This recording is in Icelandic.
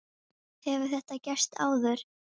Hefur þetta gerst áður?